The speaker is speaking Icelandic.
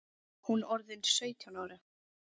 Hún orðin sautján ára.